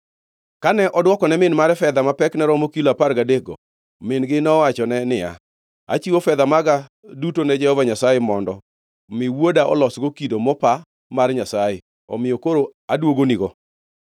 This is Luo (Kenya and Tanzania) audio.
Kane odwokone min mare fedha ma pekne romo kilo apar gadekgo, min-gi nowachone niya, “Achiwo fedha maga duto ne Jehova Nyasaye mondo mi wuoda olosgo kido mopa mar nyasaye, omiyo koro aduogonigo.”